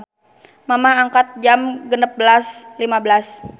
Mamah angkat Jam 16.15